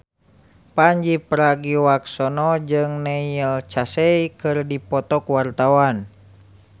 Pandji Pragiwaksono jeung Neil Casey keur dipoto ku wartawan